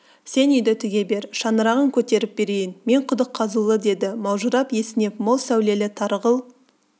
сен үйді тіге бер шаңырағын көтеріп берейін мен құдық қазулы деді маужырап есінеп мол сәулелі тарғыл